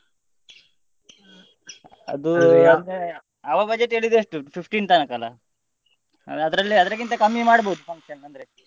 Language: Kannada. ಅವ budget ಹೇಳಿದ್ದು ಎಷ್ಟು fifteen ತನಕ ಅಲ್ಲ ಅಂದ್ರೆ ಅದ್ರಲ್ಲಿ ಅದಕ್ಕಿಂತ ಕಮ್ಮಿ ಮಾಡ್ಬೋದು function ಅಂದ್ರೆ.